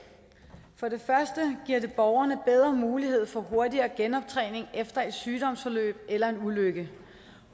for det første giver det borgerne bedre mulighed for hurtigere genoptræning efter et sygdomsforløb eller en ulykke